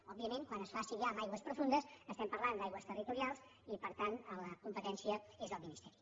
òbviament quan es faci ja en aigües profundes estarem parlant d’aigües territorials i per tant la competència és el ministeri